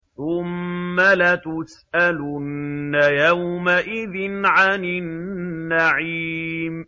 ثُمَّ لَتُسْأَلُنَّ يَوْمَئِذٍ عَنِ النَّعِيمِ